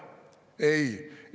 " Ei!